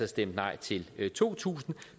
stemt nej til to tusind